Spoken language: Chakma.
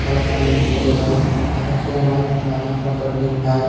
ballokani jinis bejodon aro sayganot mana mordo jinis paai.